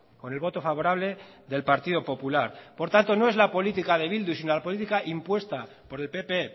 con el voto favorable del partido popular por tanto no es la política de bildu sino la política impuesta por el pp